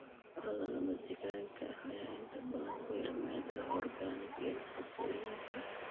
Carrada lamadegaanka ah ayaa inta badan ku yar maadada organic iyo nafaqooyinka.